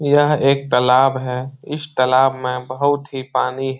यह एक तलाब है। इस तलाब में बहुत ही पानी --